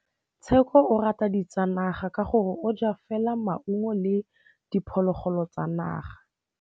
Tshekô o rata ditsanaga ka gore o ja fela maungo le diphologolo tsa naga.